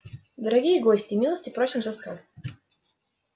дорогие гости милости просим за стол